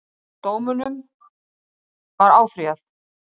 Dómunum var áfrýjað